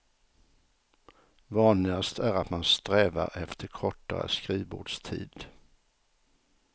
Vanligast är att man strävar efter kortare skrivbordstid.